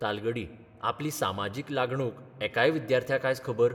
तालगडी आपली सामाजीक लागणूक एकाय विद्यार्थ्याक आज खबर